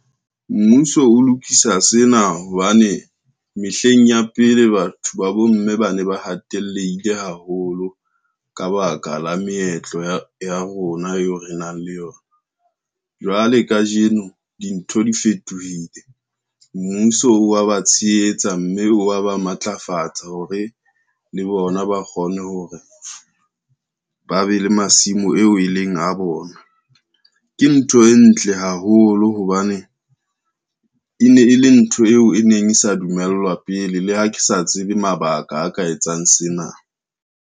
Mmuso o lokisa sena hobane mehleng ya pele, batho ba bomme ba ne ba hateleile haholo, ka baka la meetlo ya rona eo re nang le yona. Jwale kajeno dintho di fetohile mmuso wa ba tshehetsa, mme wa ba ba matlafatsa hore le bona ba kgone hore ba be le masimo eo e leng a bona. Ke ntho e ntle haholo hobane, e ne e le ntho eo e neng e sa dumellwa pele, le ha ke sa tsebe mabaka a ka etsang sena.